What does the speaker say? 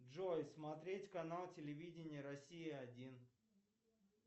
джой смотреть канал телевидения россия один